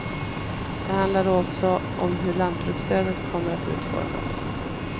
Det handlar då också om hur lantbruksstödet kommer att utformas.